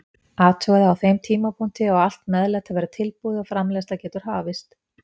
Athugaðu að á þeim tímapunkti á allt meðlæti að vera tilbúið og framreiðsla getur hafist.